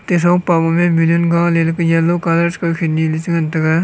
ate thongpa ma ballon gale la yellow colour kawkhen ni le che ngan tega.